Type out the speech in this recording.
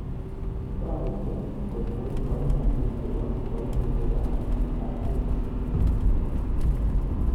Toretii koter kaimutik chebo kaimutik ab Rh